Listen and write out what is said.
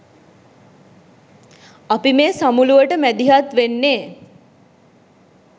අපි මේ සමුළුවට මැදිහත් වෙන්නේ